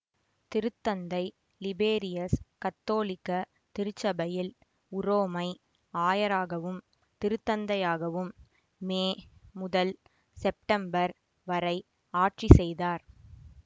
திருத்தந்தை லிபேரியஸ் கத்தோலிக்க திருச்சபையில் உரோமை ஆயராகவும் திருத்தந்தையாகவும் மே முதல் செப்டம்பர் வரை ஆட்சிசெய்தார்